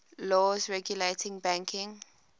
laws regulating banking